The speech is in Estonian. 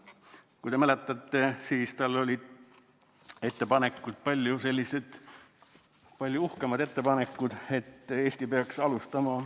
Kui te mäletate, siis tal olid palju uhkemad ettepanekud.